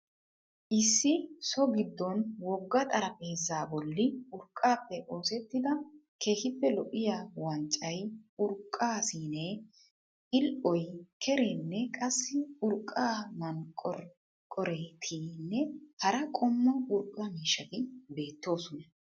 Issi so gidoon wogga xaraphpheezzaa bolli urqqaappe osettida keehiipe lo'iyaa wanccay, urqqaa siinee, pil'oy, kereenne qassi urqqa manqoreqorettinne hara qommo urqqa mishshatti beettoosona.